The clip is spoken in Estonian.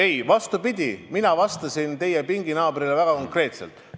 Ei, vastupidi, ma vastasin teie pinginaabrile väga konkreetselt.